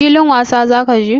Filin wasa za ka je?